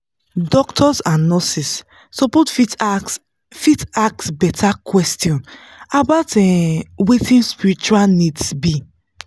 doctors and nurses suppose fit ask fit ask better questions about um wetin spiritual needs be.